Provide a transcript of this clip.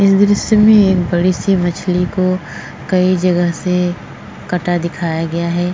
इस दृश्य में एक बड़ी सी मछली को कई जगह से कटा दिखाया गया है।